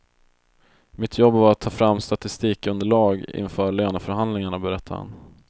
Mitt jobb var att ta fram statistikunderelag inför löneförhandlingarna, berättar han.